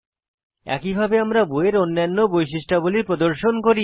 একইভাবে আমরা বইয়ের অন্যান্য বৈশিষ্ট্যাবলী প্রদর্শন করি